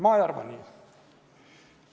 Ma ei arva nii.